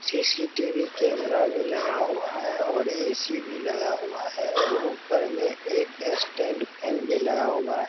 CCTV camera भी लगा हुआ है और ए.सी. भी लगा हुआ है और ऊपर में एक स्टैंड फेन भी लगा हुआ है।